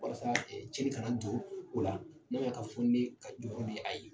Walasa cenni ka na don o la n'a man ɲɛn ka fɔ jɔyɔ bɛ a ye.